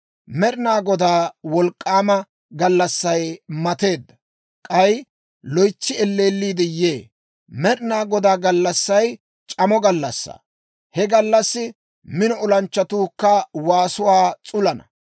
Med'inaa Godaa wolk'k'aama gallassay mateedda; k'ay loytsi elleelliide yee. Med'inaa Godaa gallassay c'amo gallassaa. He gallassi mino olanchchatuukka waasuwaa s'ulisana.